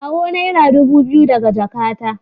Kawo naira dubu biyu daga jakata.